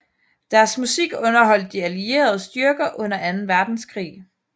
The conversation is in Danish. Deres musik underholdt de allierede styrker under anden verdenskrig